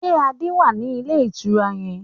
Ṣé Adé wá ní ilé ìtura yẹn?